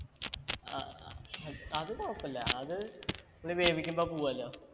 അഹ് അത് കൊയപ്പില്ല അത് ല് വേവിക്കുമ്പോ പോവു അല്ലോ